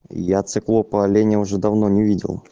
я циклопа оленя уже давно не видел